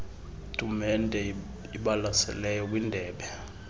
tumente ibalaseleyo kwindebe